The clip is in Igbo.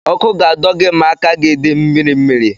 Ọkụ ga-adọ gị ma aka gị dị mmiri mmiri.